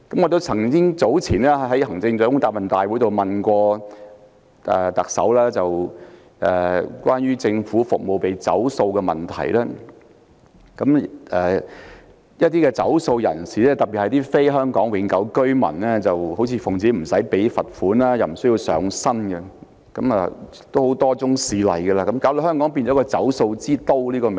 我早前在行政長官答問會詢問特首關於政府服務被拖欠費用的問題。一些欠費人士，特別是非香港永久性居民，理直氣壯不繳費而又不用承擔責任，多宗事例的發生令香港變為一個"走數之都"。